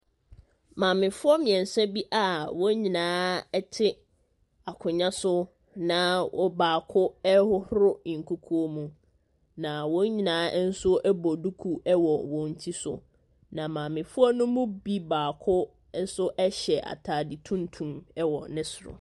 Maamefoɔ mmiɛnsa bi a wɔn nyinaa te akonnwa so na ɔbaako ɛrehohoro nkukuo mu, na wɔn nyinaa nso bɔ duku wɔ wɔn ti so. Na maamefo ne mu bi baako nso hyɛ ataade tuntum wɔ ne soro.